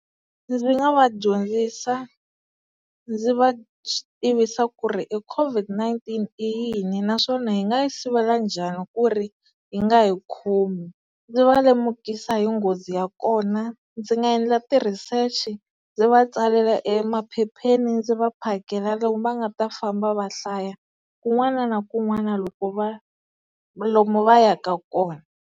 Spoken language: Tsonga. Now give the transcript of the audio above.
Ndzi nga va dyondzisa ndzi va tivisa ku ri e COVID-19 i yini naswona hi nga yi sivela njhani ku ri yi nga hi khomi ndzi va lemukisa hi nghozi ya kona ndzi nga endla ti-research-i ndzi va tsalela emaphepheni ndzi va phakela lomu va nga ta famba va hlaya kun'wana na kun'wana loko va lomu va yaka kona.